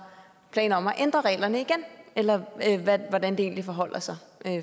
planer om at ændre reglerne eller hvordan det egentlig forholder sig